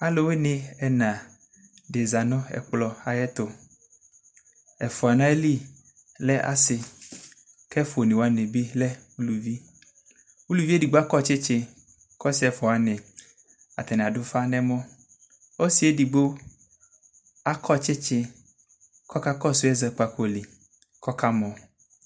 Alʋwɩnɩ ɛna dɩ zã nʋ ɛkplɔ ayɛtʋ Ɛfua n'ayili lɛ asɩ k'ɛfua onewanɩ bɩ lɛ ulʋvi Uluvi edigbo akɔ tsɩtsɩ k'ɔsɩ ɛfuawanɩ adʋ ufa n'ɛmɔ, ɔsɩ edigbo akɔ tsɩtsɩ k'ɔka kɔsʋ ɛzɔkpako li, k'ɔka mɔ